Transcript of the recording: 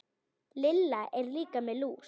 Lilla er líka með lús.